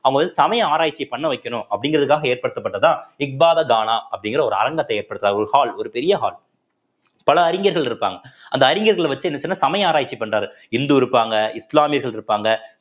அவங்க வந்து சமய ஆராய்ச்சி பண்ண வைக்கணும் அப்படிங்கிறதுக்காக ஏற்படுத்தப்பட்டதா இஃ பாதர் கானா அப்படிங்கிற ஒரு அரங்கத்தை ஏற்படுத்துறார் ஒரு hall ஒரு பெரிய hall பல அறிஞர்கள் இருப்பாங்க அந்த அறிஞர்களை வச்சு என்ன செய்யணும்ன்னா சமய ஆராய்ச்சி பண்றாரு இந்து இருப்பாங்க இஸ்லாமியர்கள் இருப்பாங்க